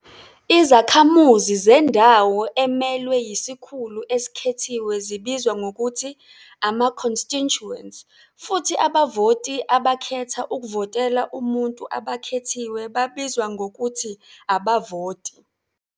Izakhamuzi zendawo emelwe yisikhulu esikhethiwe zibizwa ngokuthi "ama-constituents", futhi abavoti abakhetha ukuvotela umuntu abakhethiwe babizwa ngokuthi "abavoti."